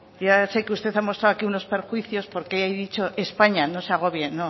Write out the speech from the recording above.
ya sé que usted ha mostrado aquí unos perjuicios porque he dicho españa no se agobie no